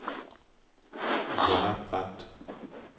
Jonna Brandt